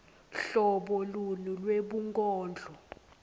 hlobo luni lwebunkondlo